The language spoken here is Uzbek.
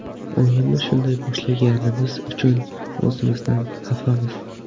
O‘yinni shunday boshlaganimiz uchun o‘zimizdan xafamiz.